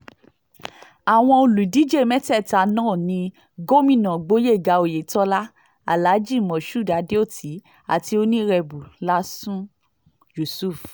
àwọn olùdíje mẹ́tẹ̀ẹ̀ta náà ní gómìnà gboyega oyetola alhaji moshood adeoti àti onírèbù lásun yusuf